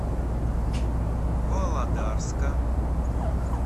володарска